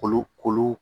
Kolo kolo